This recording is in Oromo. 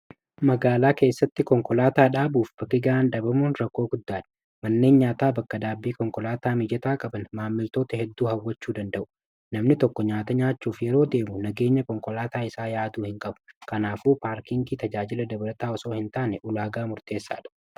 magaalaa keessatti konkolaataa dhaabuuf bakiga'an dabamuun rakkoo guddaadha manneen nyaataa bakka-daabbii konkolaataa mijetaa qaban maammiltoota hedduu hawwachuu danda'u namni tokko nyaata nyaachuuf yeroo deemu nageenya konkolaataa isaa yaaduu hin qabu kanaafuu paarkiinki tajaajila dabarataawasoo hin taane ulaagaa murteessaa dha